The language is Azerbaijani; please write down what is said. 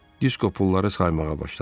Disko pulları saymağa başladı.